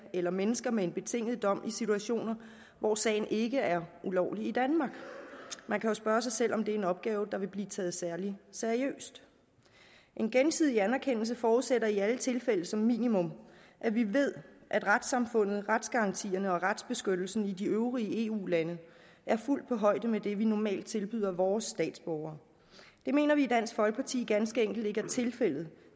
eller mennesker med en betinget dom i situationer hvor sagen ikke er ulovlig i danmark man kan jo spørge sig selv om det er en opgave der vil blive taget særlig seriøst en gensidig anerkendelse forudsætter i alle tilfælde som minimum at vi ved at retssamfundet retsgarantierne og retsbeskyttelsen i de øvrige eu lande er fuldt på højde med det vi normalt tilbyder vores statsborgere det mener vi i dansk folkeparti ganske enkelt ikke er tilfældet